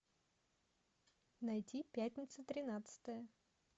найти пятница тринадцатое